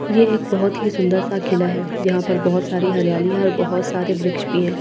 ये एक बहुत ही सुंदर सा किला है जहां पर बहुत सारी हरियाली है और बहुत सारे वृक्ष भी हैं ।